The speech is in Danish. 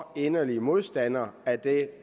inderlige modstandere af det